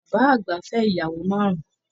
Bàbá àgbà fẹ ìyàwó márùn.